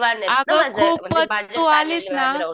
अगं खूपच तू आलीस ना